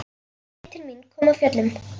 Hann leit til mín, kom af fjöllum.